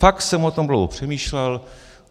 Fakt jsem o tom dlouho přemýšlel.